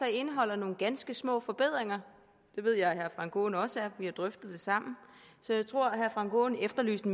indeholder nogle ganske små forbedringer det ved jeg at herre frank aaen også er vi har drøftet det sammen så jeg tror at herre frank aaen efterlyste